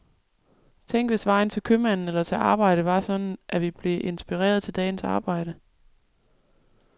Tænk, hvis vejen til købmanden eller til arbejdet var sådan, at vi blev inspireret til dagens arbejde.